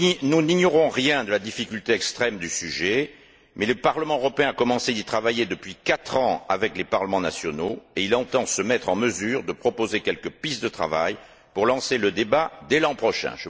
Nous n'ignorons rien de la difficulté extrême du sujet, mais le Parlement européen a commencé d'y travailler depuis quatre ans avec les parlements nationaux et il entend se mettre en mesure de proposer quelques pistes de travail pour lancer le débat dès l'an prochain.